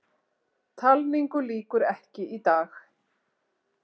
Talningu lýkur ekki í dag